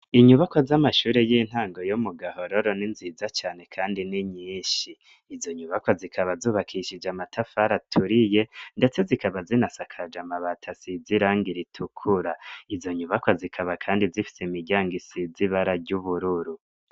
inyubako z'amashuri y'intango yo mu gahororo n'inziza cane kandi n'inyinshi izo nyubakwa zikaba zubakishije amatafari aturiye ndetse zikaba zinasakaje amabati asizirangi ritukura izo nyubakwa zikaba kandi zifise imiryango isize ibara ry'ubururu